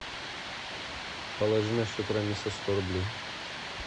положи на счет рамиса сто рублей